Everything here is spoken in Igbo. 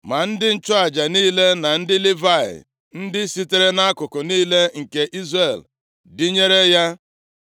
Ma ndị nchụaja niile na ndị Livayị ndị sitere nʼakụkụ niile nke Izrel dịnyere ya.